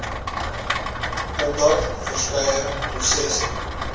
omdat verskeie prosesse